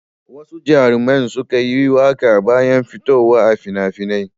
Wasu jaruman sukan yi waƙa bayan fitowa a fina-finai.